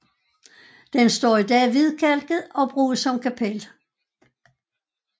Den står i dag hvidkalket og bruges som kapel